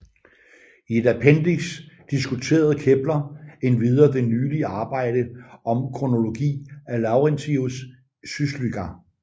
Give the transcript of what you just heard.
I et appendix diskuterede Kepler endvidere det nylige arbejde om kronologi af Laurentius Suslyga